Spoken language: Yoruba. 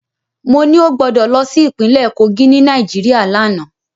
Mo ní ó gbọdọ̀ lọ sí ìpínlẹ̀ Kogí ni Nàìjíríà lánàá.